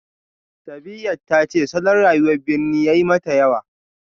Sabiyat ta ce salon rayuwar birni ya yi mata yawa